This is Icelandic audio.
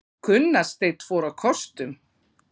Gunnar Steinn fór á kostum